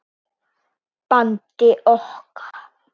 bandi okkar.